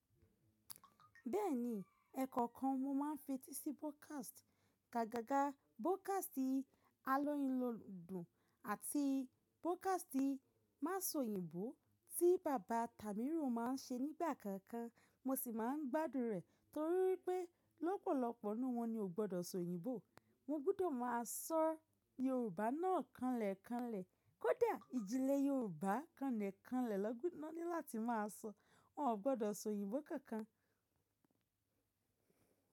Bẹ́ẹ̀ni, ẹ̀kọ́ kan mo máa ń fetí sí broadcast, gágaga broadcast àlọ́ yín ló dùn àti broadcast má sọ òyìnbó tí bàbá Tàmíró má a ń ṣe nígbà kankan. Mo sì máa ń gbádùn rẹ̀ torí pé lọ́pọ̀lọpọ̀ nínú wọn ni o gbọdọ̀ sọ òyìnbó. Mo gbúdọ̀ má a sọ Yorùbá náà kánlẹ̀kánlẹ̀. Kódà ìjìnlẹ̀ Yorùbá kánlẹ̀kánlẹ̀ lọ́ gbọ́, iná ní láti má a sọ, wọn ò gbọdọ̀ sọ òyìnbó kankan.